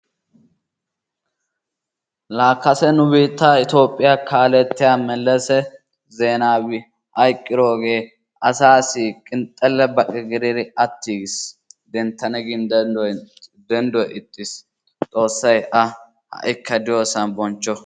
Laa kase nu biittaa Itoophphiya kaalettiya Mellese Zeenaawi hayqqidooge asaassi qinxxalle baqe gididi utiigiis, denttana gin dendduwa ixiis, xoosay A ha''ikka diyosan bonchcho.